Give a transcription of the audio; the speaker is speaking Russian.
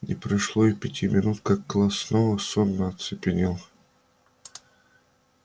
не прошло и пяти минут как класс снова сонно оцепенел